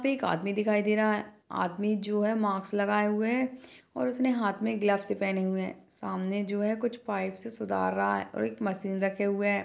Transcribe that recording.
एक आदमी दिखाई दे रहा है आदमी जो है मास्क लगाए हुए है और उसने हाथ मे ग्लव्स भी पहने हुए है सामने जो है कुछ पाइप से सुधार रहा है और एक मशीन रखे हुए है।